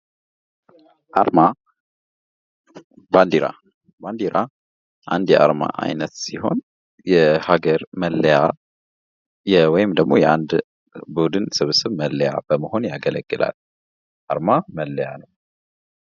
አርማ ባንዴራ ባንዴራ አንድ የአርማ አይነት ሲሆን የሀገር መለያ ወይም ደግሞ የአንድ ቡድን ስብስብ መለያ ለመሆን ያገለግላል። አርማ መለያ ነው።